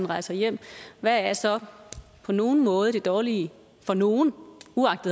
rejser hjem hvad er så på nogen måde det dårlige for nogen